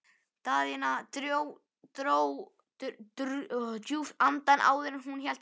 Daðína dró djúpt andann áður en hún hélt áfram.